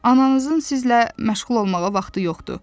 Ananızın sizlə məşğul olmağa vaxtı yoxdur.